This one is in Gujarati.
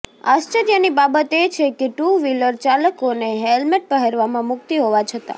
આશ્ચર્યની બાબત એ છે કે ટુ વ્હીલર ચાલકોને હેલમેટ પહેરવામાં મુક્તિ હોવા છતા